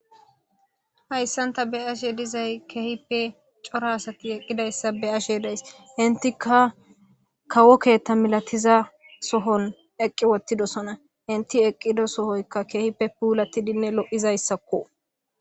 Hayssan.tani beashe dizayi keehippe cora asati eqqida asa beashe days inteka kawo keththa milatiza sohon eqqi wotidosona ente eqqido sohoyoka keehippe pulatidi de'iza issako